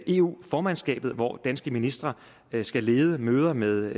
eu formandskabet hvor danske ministre skal lede møder med